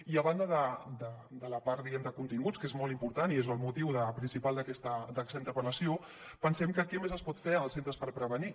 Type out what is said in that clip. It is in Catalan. i a banda de la part diguem ne de continguts que és molt important i és el motiu principal d’aquesta interpel·lació pensem en què més es pot fer en els centres per prevenir